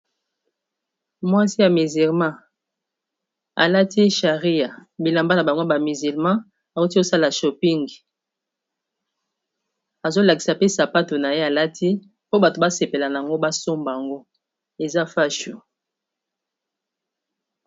mwasi ya miserma alati sharia bilamba na bangwa ba musilma auti kosala shoping azolakisa pe sapato na ye alati po bato basepela a yango basombaango eza fashu